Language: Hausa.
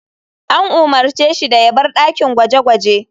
An umarce shi da ya bar dakin gwaje-gwaje.